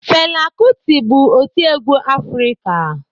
Fela kuti bụ otiegwu Afrịka.